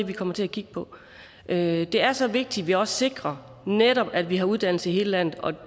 vi kommer til at kigge på det er så vigtigt at vi også sikrer netop at vi har uddannelse i hele landet og